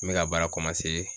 N bɛ ka baara